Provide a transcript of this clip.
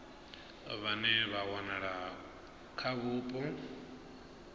vhane vha wanala kha vhupo